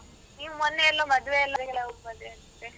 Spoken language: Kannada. ನೀವ್ ನೀವ್ ಮೊನ್ನೆ ಎಲ್ಲೋ ಮದ್ವೆ ಅಂತೆ?